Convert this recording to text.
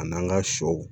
A n'an ka sɔw